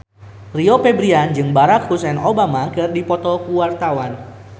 Rio Febrian jeung Barack Hussein Obama keur dipoto ku wartawan